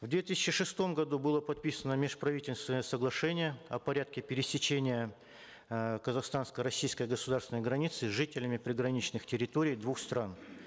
в две тысячи шестом году было подписано межправительственное соглашение о порядке пересечения э казахстанско российской государственной границы жителями приграничных территорий двух стран